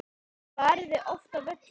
Farið þið oft á völlinn?